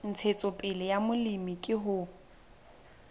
ntshetsopele ya molemi ke ho